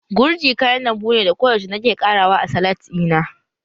Gurji kayan lambu ne da koyaushe nake ƙara wa a salat ɗina